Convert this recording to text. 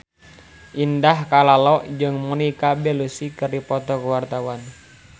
Indah Kalalo jeung Monica Belluci keur dipoto ku wartawan